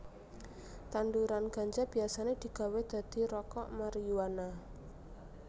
Tanduran ganja biasané digawé dadi rokok mariyuana